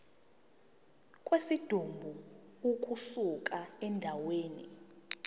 kwesidumbu ukusuka endaweni